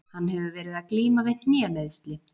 Hann hefur verið að glíma við hnémeiðsli.